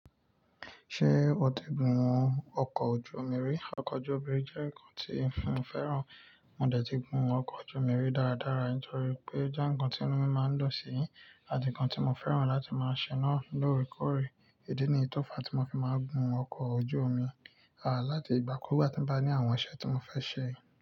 Ṣé o ti gun ọkọ̀ ojú omi rí? Ọkọ̀ ojú omi jẹ́ nǹkan tí fun fẹ́ràn. Mo dẹ̀ ti gun ọkọ̀ ojú omi rí dára dára torí pé ó jẹ́ nǹkan tí inú mi máa ń dùn sí, àti nǹkan tí mo fẹ́ràn láti máa ṣe náà lóòrèkóòrè. Ìdí niyí tọ́fa tí mo fi máa ń gun ọkọ̀ ojú omi, à láti ìgbà kú ìgbà tí mo bá ní àwọn iṣẹ́ tí mo fẹ́ ṣe.